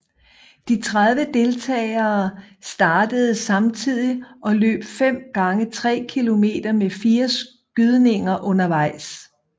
De 30 deltagere startede samtidig og løb fem gange 3 km med fire skydninger undervejs